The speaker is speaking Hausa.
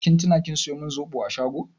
Kin tuna kin saya min zoɓo a shago?